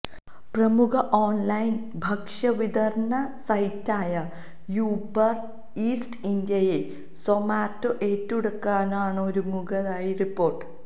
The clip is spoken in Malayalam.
പ്രമുഖ ഓൺലൈൻ ഭക്ഷ്യ വിതരണ സൈറ്റായ യൂബര് ഈറ്റ്സ് ഇന്ത്യയെ സൊമാറ്റോ ഏറ്റെടുക്കാനൊരുങ്ങുന്നതായി റിപ്പോർട്ട്